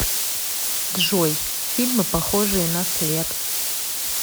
джой фильмы похожие на след